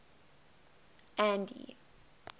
andy